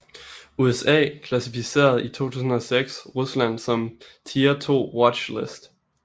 USA klassificerede i 2006 Rusland som Tier 2 Watch list